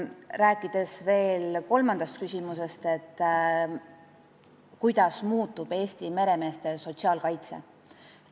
Räägime veel kolmandast küsimusest, et kuidas muutub Eesti meremeeste sotsiaalkaitse.